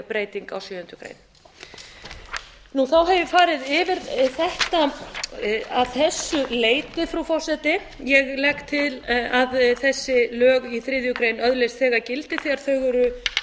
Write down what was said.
breyting á sjöundu grein þá hef ég farið yfir þetta að þessu leyti frú forseta ég legg til að þessi lög í þriðju grein öðlist þegar gildi þegar þau eru